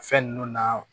Fɛn ninnu na